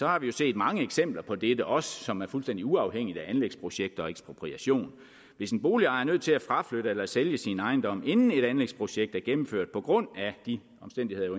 har vi jo set mange eksempler på dette også som er fuldstændig uafhængig af anlægsprojekter og ekspropriation hvis en boligejer er nødt til at fraflytte eller sælge sin ejendom inden et anlægsprojekt er gennemført på grund af de omstændigheder